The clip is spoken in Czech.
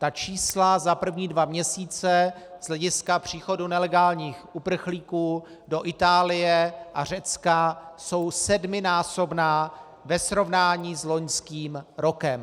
Ta čísla za první dva měsíce z hlediska příchodu nelegálních uprchlíků do Itálie a Řecka jsou sedminásobná ve srovnání s loňským rokem.